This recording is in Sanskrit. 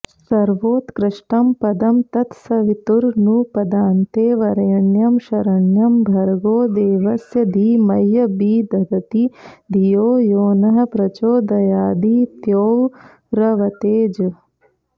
सर्वोत्कृष्टं पदं तत्सवितुरनुपदान्ते वरेण्यं शरण्यं भर्गो देवस्य धीमह्यभिदधति धियो यो नः प्रचोदयादित्यौर्वतेजः